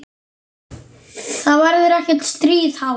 Það verður ekkert stríð háð.